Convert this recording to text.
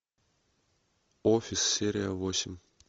офис серия восемь